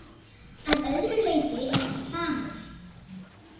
Að öðru leyti er hann samur.